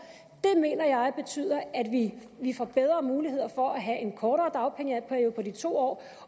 mener jeg betyder at vi får bedre mulighed for at have en kortere dagpengeperiode på de to år